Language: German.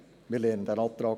Wir kommen zur Abstimmung.